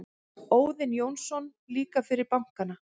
Óðinn Jónsson: Líka fyrir bankana.